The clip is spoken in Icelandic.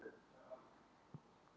Bíllinn er talsvert skemmdur